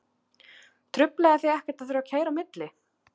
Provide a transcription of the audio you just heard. Truflaði þig ekkert að þurfa að keyra á milli?